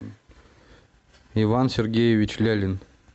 иван сергеевич лялин